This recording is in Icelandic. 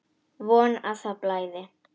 Von að það blæði!